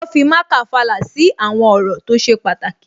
Wọ́n fi marker fàlà sí àwọn ọ̀rọ̀ tó ṣe pàtàkì